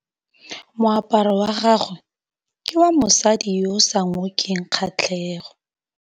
Moaparô wa gagwe ke wa mosadi yo o sa ngôkeng kgatlhegô.